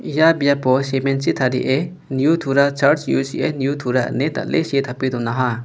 ia biapo semen chi tarie neu tura charj U_C_A neu tura ine dal·e see tape donaha.